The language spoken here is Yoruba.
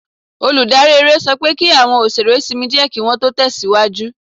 Olùdarí eré sọ pé kí àwọn òṣèré sinmi díẹ̀ kí Wọ́n tó tẹ̀síwájú